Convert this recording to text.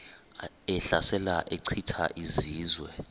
ehlasela echitha izizwe